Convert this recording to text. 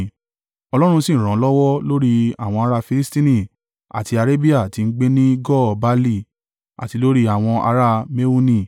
Ọlọ́run sì ràn án lọ́wọ́ lórí àwọn ará Filistini àti Arabia tí ń gbé ní Gur-baali àti lórí àwọn ará Mehuni.